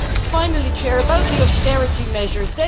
Finally, a word about the austerity measures.